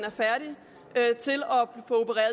opererer